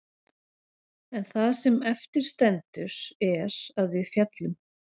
En það sem eftir stendur er að við féllum.